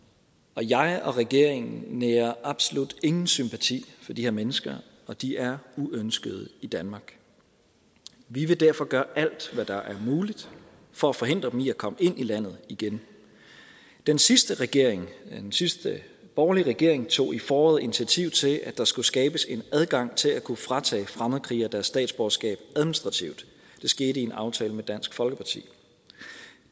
og jeg og regeringen nærer absolut ingen sympati for de her mennesker og de er uønskede i danmark vi vil derfor gøre alt hvad der er muligt for at forhindre dem i at komme ind i landet igen den sidste regering den sidste borgerlige regering tog i foråret initiativ til at der skulle skabes en adgang til at kunne fratage fremmedkrigere deres statsborgerskab administrativt det skete i en aftale med dansk folkeparti